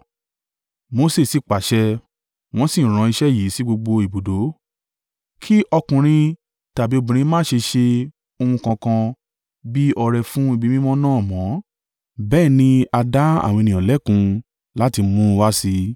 Mose sì pàṣẹ, wọ́n sì rán iṣẹ́ yìí sí gbogbo ibùdó: “Kí ọkùnrin tàbí obìnrin má ṣe ṣe ohun kankan bí ọrẹ fún ibi mímọ́ náà mọ́.” Bẹ́ẹ̀ ni a dá àwọn ènìyàn lẹ́kun láti mú un wá sí i,